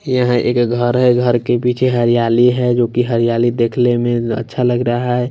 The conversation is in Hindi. यहाँ एक घर है घर के पीछे हरियाली है जो कि हरियाली देखले में अच्छा लग रहा है।